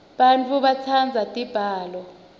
bafundzi batsandza tibalo